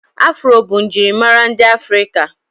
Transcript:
Afro bụ njirimara ndị afrika